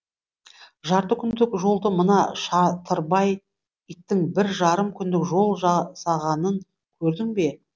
жарты күндік жолды мына шатырбай иттің бір жарым күндік жол жасағанын көрдің бе